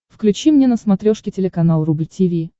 включи мне на смотрешке телеканал рубль ти ви